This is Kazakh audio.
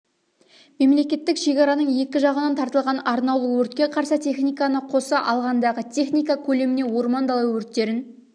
мемлекеттік шекараның екі жағынан тартылған арнаулы өртке қарсы техниканы қоса алғандағы техника көлеміне орман дала өрттерін